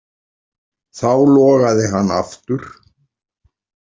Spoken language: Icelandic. Þá logaði hann aftur.